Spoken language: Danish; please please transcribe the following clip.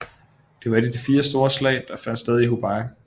Det var et af de fire store slag der fandt sted i Hubei